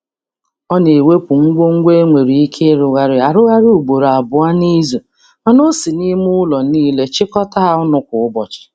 Ọ na-ewepụ ngwo ngwo e nwere ike ịrụgharaị arụgharị ugboro abụọ n'izu, mana ọ si n'ime ụlọ niile chịkọta ha ọnụ kwa ụbọchị.